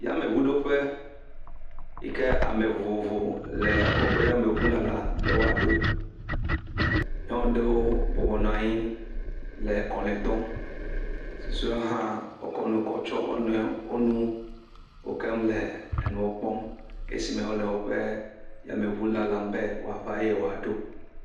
Yameŋuɖoƒe yike ame vovovo le woƒe yameŋu lalam be woaɖo. Nyɔnu aɖewo bɔbɔnɔ anyi le kɔlɔe dɔm. Susuewo hã wokɔ nu kɔ tsɔ wo nɔewo, wonu wokem le enuwo kpɔm esi me wole woƒe yameŋu lalam be woava eye woaɖo.